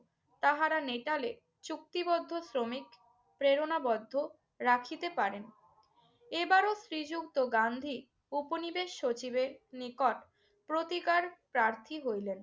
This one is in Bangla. তাহারা নেটালে চুক্তিবদ্ধ শ্রমিক প্রেরণাবদ্ধ রাখিতে পারেন। এবারও শ্রীযুক্ত গান্ধী ঔপনিবেশ সচিবের নিকট প্রতিকার প্রার্থী হইলেন।